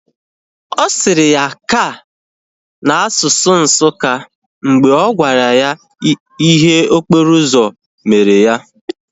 Ọ sịrị ya "ka" na asụsụ Nsukka mgbe ọ gwara ya ihe mberede okporo ụzọ mere ya